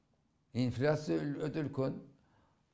инфляция өте үлкен